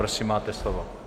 Prosím, máte slovo.